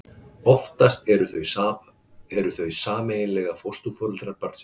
Oftast eru þau sameiginlega fósturforeldrar barnsins.